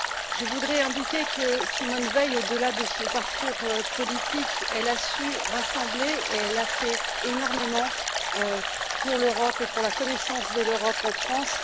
Je voudrais indiquer que Simone Veil, au delà de son parcours politique, a su rassembler et a fait énormément pour l'Europe et pour la connaissance de l'Europe en France.